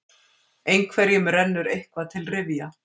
Einhverjum rennur eitthvað til rifja